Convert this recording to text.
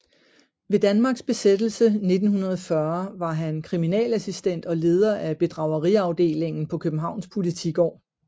Ved Danmarks besættelse 1940 var han kriminalassistent og leder af bedrageriafdelingen på Københavns Politigård